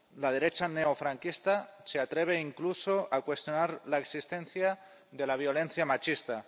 La derecha neofranquista se atreve incluso a cuestionar la existencia de la violencia machista.